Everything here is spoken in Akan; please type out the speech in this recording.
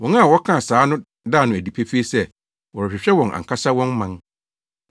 Wɔn a wɔka saa no da no adi pefee sɛ wɔrehwehwɛ wɔn ankasa wɔn man.